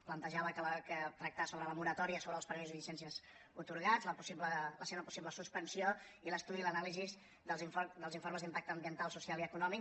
plantejar tractar sobre la moratòria sobre els permisos i llicències atorgats la seva possible suspensió i l’estudi i l’anàlisi dels informes d’impacte ambiental social i econòmic